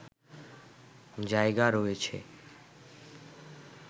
জায়গা রয়েছে